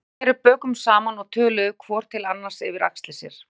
Þeir sneru bökum saman og töluðu hvor til annars yfir axlir sér.